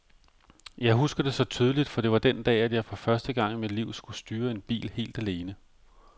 Jeg husker det så tydeligt, for det var den dag, at jeg for første gang i mit liv skulle styre en bil helt alene.